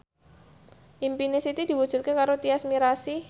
impine Siti diwujudke karo Tyas Mirasih